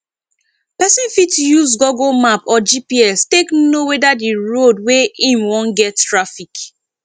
person fit use google map or gps take know weda di road wey im wan get traffic